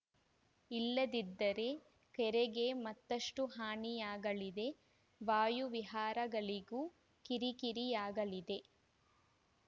ಇಲ್ಲದಿದ್ದರೆ ಕೆರೆಗೆ ಮತ್ತಷ್ಟುಹಾನಿಯಾಗಲಿದೆ ವಾಯು ವಿಹಾರಿಗಳಿಗೂ ಕಿರಿಕಿರಿಯಾಗಲಿದೆ